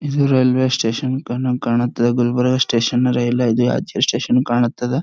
ಇದು railway station ಕಂಡಂಗ್ ಕಾಣುತ್ತೆ ಗುಲರ್ಬ ಸ್ಟೇಷನ್ ಅರೆ ಇಲ್ಲ ಸ್ಟೇಷನ್ ಕಾಣುತ್ತದ.